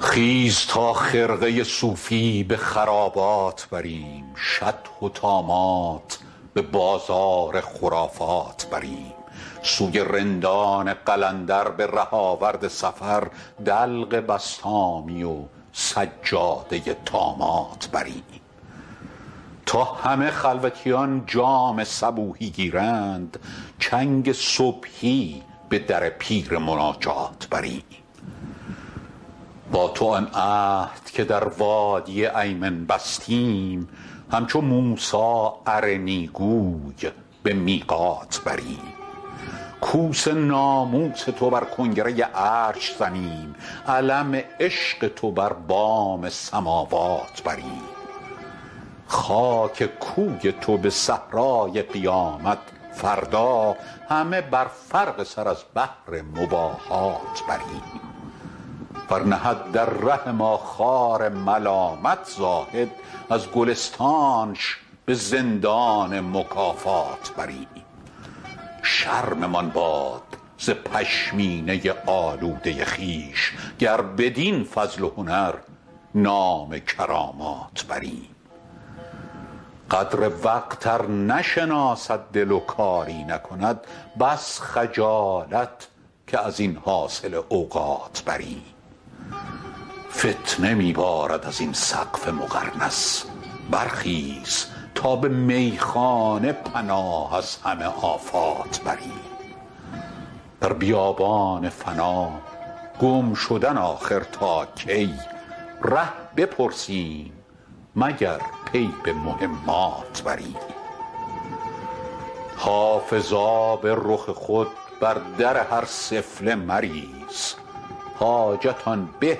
خیز تا خرقه صوفی به خرابات بریم شطح و طامات به بازار خرافات بریم سوی رندان قلندر به ره آورد سفر دلق بسطامی و سجاده طامات بریم تا همه خلوتیان جام صبوحی گیرند چنگ صبحی به در پیر مناجات بریم با تو آن عهد که در وادی ایمن بستیم همچو موسی ارنی گوی به میقات بریم کوس ناموس تو بر کنگره عرش زنیم علم عشق تو بر بام سماوات بریم خاک کوی تو به صحرای قیامت فردا همه بر فرق سر از بهر مباهات بریم ور نهد در ره ما خار ملامت زاهد از گلستانش به زندان مکافات بریم شرممان باد ز پشمینه آلوده خویش گر بدین فضل و هنر نام کرامات بریم قدر وقت ار نشناسد دل و کاری نکند بس خجالت که از این حاصل اوقات بریم فتنه می بارد از این سقف مقرنس برخیز تا به میخانه پناه از همه آفات بریم در بیابان فنا گم شدن آخر تا کی ره بپرسیم مگر پی به مهمات بریم حافظ آب رخ خود بر در هر سفله مریز حاجت آن به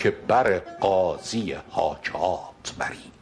که بر قاضی حاجات بریم